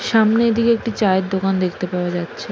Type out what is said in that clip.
সামনে দিকে চায়ের দোকান দেখতে পাওয়া যাচ্ছে।